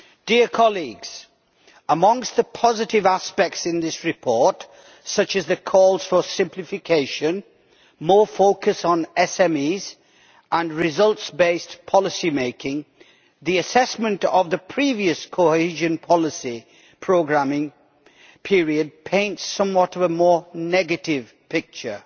Madam President, amongst the positive aspects in this report, such as the calls for simplification, more focus on SMEs and results based policymaking, the assessment of the previous cohesion policy programming period paints a somewhat more negative picture.